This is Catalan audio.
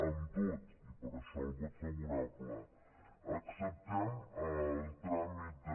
amb tot i per això el vot favorable acceptem el tràmit de